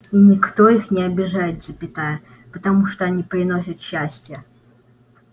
и никто их не обижает запятая потому что они приносят счастье